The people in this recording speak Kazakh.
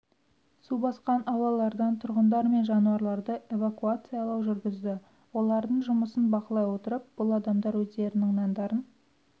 су басқан аулалардан тұрғындар мен жануарларды эвакуациялау жүргізді олардың жұмысын бақылай отырып бұл адамдар өздерінің нандарын